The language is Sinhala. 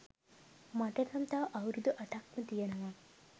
මට නම් තව අවුරුදු අටක්ම තියනවා